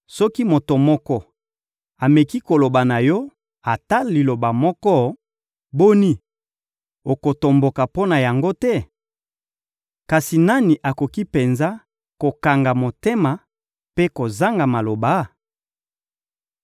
«Soki moto moko ameki koloba na yo ata liloba moko, boni, okotomboka mpo na yango te? Kasi nani akoki penza kokanga motema mpe kozanga maloba?